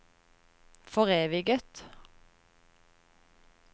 foreviget